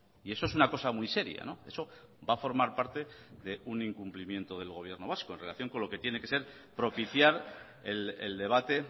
y eso es una cosa muy seria eso va a formar parte de un incumplimiento del gobierno vasco en relación con lo que tiene que ser propiciar el debate